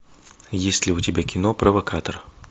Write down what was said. есть ли у тебя кино провокатор